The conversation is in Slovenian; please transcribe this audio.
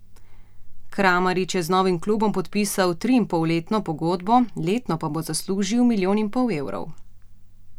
Kramarić je z novim klubom podpisal triinpolletno pogodbo, letno pa bo zaslužil milijon in pol evrov.